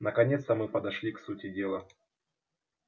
наконец-то мы подошли к сути дела